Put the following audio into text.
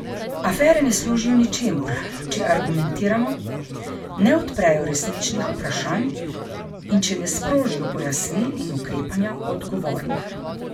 Afere ne služijo ničemur, če argumentirano ne odprejo resničnih vprašanj in če ne sprožijo pojasnil in ukrepanja odgovornih.